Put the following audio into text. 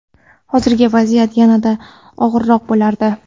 hozirgi vaziyat yanada og‘irroq bo‘lardi.